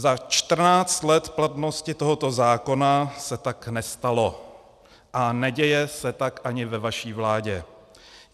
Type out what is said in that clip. Za 14 let platnosti tohoto zákona se tak nestalo a neděje se tak ani ve vaší vládě.